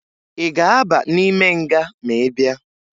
Ị ga-aba n'ime nga ma ị bịa?